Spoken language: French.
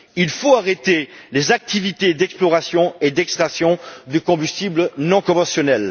Il faut arrêter les activités d'exploration et d'extraction de combustibles non conventionnels.